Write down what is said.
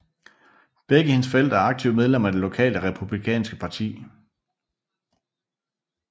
Begge hendes forældre er aktive medlemmer af det lokale republikanske parti